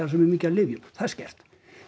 svo mikið af lyfjum það er skert